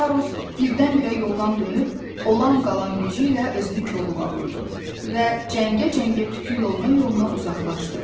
Karus birdən-birə yoldan dönüb, olan-qalan gücü ilə özünü kolluğa vurdu və cəngə-cəngə tiku yoluyla yoluna uzaqlaşdı.